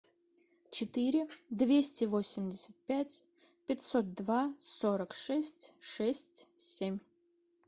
четыре двести восемьдесят пять пятьсот два сорок шесть шесть семь